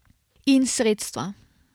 In sredstva.